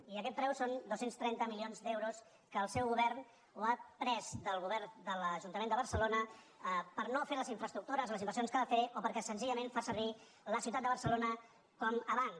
i aquest preu són dos cents i trenta milions d’euros que el seu govern ha pres del govern de l’ajuntament de barcelona per no fer les infraestructures les inversions que ha de fer o perquè senzillament fa servir la ciutat de barcelona com a banc